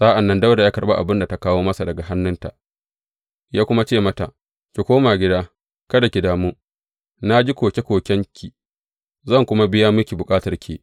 Sa’an nan Dawuda ya karɓi abin da ta kawo masa daga hannunta, ya kuma ce mata, Ki koma gida kada ki damu, na ji koke kokenki, zan kuma biya miki bukatarki.